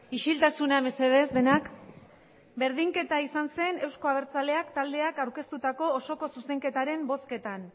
isiltasuna mesedez denak berdinketa izan zen euzko abertzaleak taldeak aurkeztutako osoko zuzenketaren bozketan